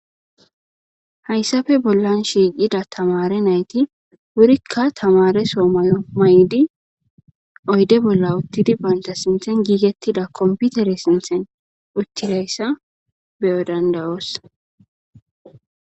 hayssafe bollan shiiqida tamare nayti wurikka tamare so mayo may7di oyde bolla uttidi baynta sinthen giigettida komputere sinthen uttidayssa beyo dandawoos